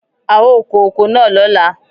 A ó kó oko náà lóla.